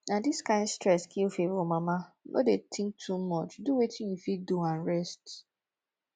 na dis kyn stress kill favour mama no dey think too much do wetin you fit do and rest